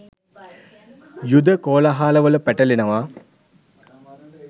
යුධ කෝළාහලවල පැටලෙනවා.